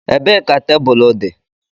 Ebee ka tebụl dị?